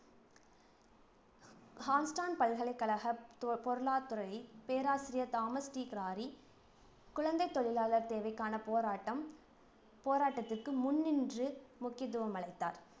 பல்கலைக்கழக ப~ பொருளாத்துறை பேராசிரியர் தாமஸ் டி கிராரி, குழந்தைத் தொழிலாளர் தேவைக்கான போராட்டம் போராட்டத்திற்கு முன்னின்று முக்கியத்துவம் அளித்தார்